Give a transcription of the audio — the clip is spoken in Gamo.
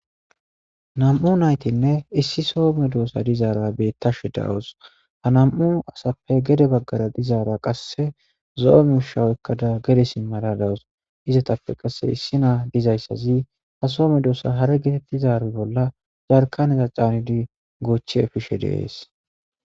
nam'u naytinne issi soo medossa dizaara bettashe dawus, ha nam'u asappe gede baggara dizaara qasse zo'ome misha oykada gede simada dawus, izatappe qasse issi naa dizayssazi ha soo medosa hare getettizari bolla yarkaneza caanidi goochi efishe de'es